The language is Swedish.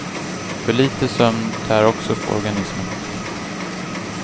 För litet sömn tär också på organismen.